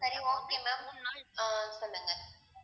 சரி okay ma'am மூணு நாள் ஆஹ் சொல்லுங்க